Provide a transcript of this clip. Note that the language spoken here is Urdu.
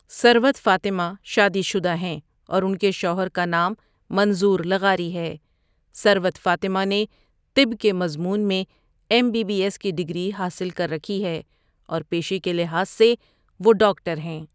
ثروت فاطمہ شادی شدہ ہیں اور ان کے شوہر کا نام منظور لغاری ہے ثروت فاطمہ نے طب کے مضمون میں ایم بی بی ایس کی ڈگری حاصل کر رکھی ہے اور پیشے کے لحاظ سے وہ ڈاکٹر ہیں